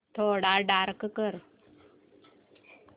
थोडा डार्क कर